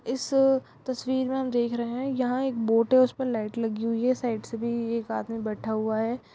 इस तस्वीर में हम देख रहे हैं यहां एक बोट है उसपे लाइट लगी हुई है साइड से भी एक आदमी बैठा हुआ है ।